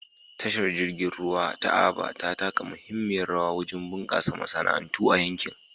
Tashar jirgin ruwa ta Aba ta taka muhimmiyar rawa wajen bunƙasa masana'antu a yankin.